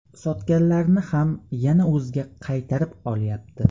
Sotganlarini ham yana o‘ziga qaytarib olyapti.